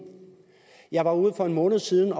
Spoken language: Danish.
jeg var var for en måned siden